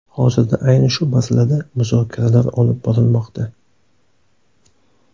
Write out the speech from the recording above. Hozirda ayni shu masalada muzokaralar olib borilmoqda.